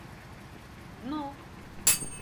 дно